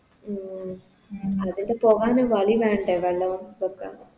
ഉം അതിന് പോകാന് വളി വേണ്ടേ വെള്ളവും ഒക്കെ